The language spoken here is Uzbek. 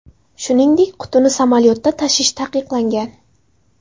Shuningdek, qutini samolyotda tashish taqiqlangan.